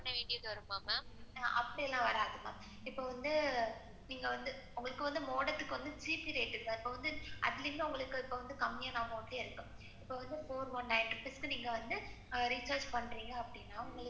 அப்பிடி எல்லாம் வாராதுமா. இப்ப வந்து modem க்கு வந்து GB rate தான். atleast உங்களுக்கு கம்மியான amount இருக்கும். இப்ப வந்து நீங்க four one nine six recahrge பண்றீங்க. அப்பிடின்னா,